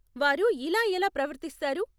వారు ఇలా ఎలా ప్రవర్తిస్తారు?